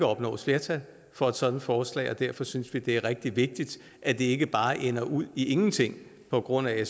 opnås flertal for et sådant forslag og derfor synes vi det er rigtig vigtigt at det ikke bare ender ud i ingenting på grund af